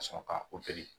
Ka sɔrɔ ka